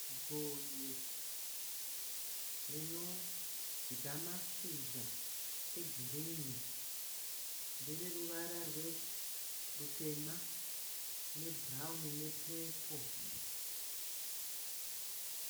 Gonye rinodya mashizha egirini. Ndereruvara rutema nebhurauni nepepo.